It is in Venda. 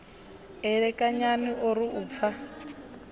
elekanyani o ri u pfa